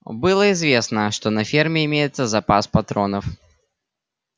было известно что на ферме имеется запас патронов